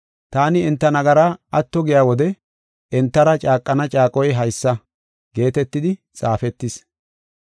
Taani enta nagara atto giya wode entara caaqana caaqoy haysa” geetetidi xaafetis.